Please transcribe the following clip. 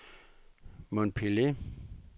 Montpellier